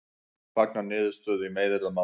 Fagna niðurstöðu í meiðyrðamáli